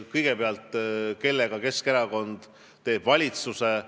Kõigepealt, kellega teeb Keskerakond valitsuse?